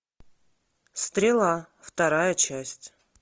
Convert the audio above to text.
стрела вторая часть